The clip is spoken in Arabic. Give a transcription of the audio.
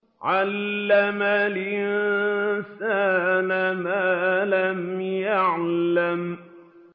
عَلَّمَ الْإِنسَانَ مَا لَمْ يَعْلَمْ